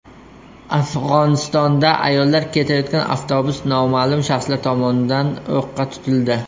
Afg‘onistonda ayollar ketayotgan avtobus noma’lum shaxslar tomonidan o‘qqa tutildi.